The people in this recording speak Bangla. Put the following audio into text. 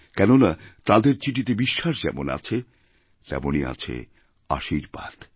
কেননা তাঁদের চিঠিতেবিশ্বাস যেমন আছে তেমনই আছে আশীর্বাদ